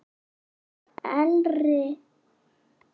Elri hefur ekki átt afturkvæmt þótt aftur hlýnaði í ári.